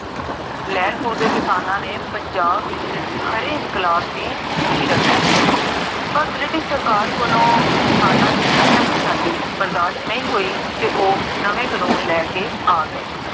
ਲੇਹ੍ਲਪੁਰ ਦੇ ਕਿਸਾਨਾ ਨੇ ਪੰਜਾਬ ਵਿਚ, ਹਰ ਇਨਕ਼ਲਾਬ ਦੀ ਨੀਹ ਰਖੀ ਸੀ ਪਰ british ਸਰਕਾਰ ਕੋਲੋਂ ਕਿਸਾਨਾ ਦੀ ਇਹ ਕੁਸ਼ਾਆਲੀ ਬਰਦਾਸ਼ ਨਹੀ ਹੋਈ, ਤੇ ਓਹ ਨਵੇ ਕਾਨੂਨ ਲੈ ਕੇ ਆਗਏ